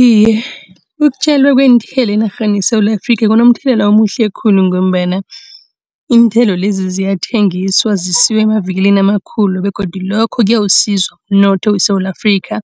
Iye, ukutjalwa kweenthelo enarheni yeSewula Afrikha kunomthelela omuhle khulu ngombana iinthelo lezi ziyathengiswa, zisiwa emavikilini amakhulu begodu lokho kuyawusiza umnotho weSewula Afrikha.